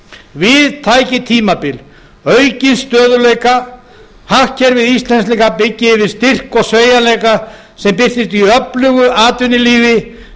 við tæki tímabil aukins stöðugleika hagkerfi íslendinga byggi yfir styrk og sveigjanleika sem birtist í öflugu atvinnulíf